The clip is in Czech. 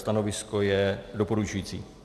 Stanovisko je doporučující.